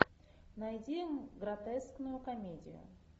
найди гротескную комедию